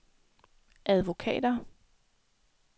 advokater